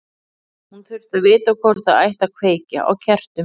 Hún þurfti að vita hvort það ætti að kveikja á kertum.